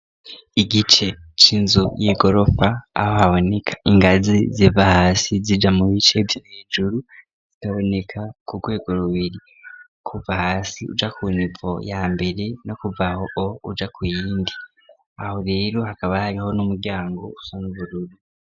Igice c'inzu y'igorofa aho haboneka ingazi ziva hasi zija mu bice vyohejuru zikaboneka ku rwego rubiri kuva hasi uja ku niVo ya mbere no kuvaho uja ku iyindi aho rero hakaba hariho n'umuryango usona ubururu.